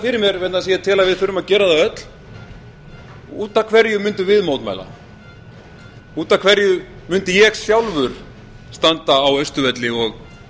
fyrir mér vegna þess að ég tel að við þurfum að gera það öll út af hverju mundum við mótmæla út af hverju mundi ég sjálfur standa á austurvelli og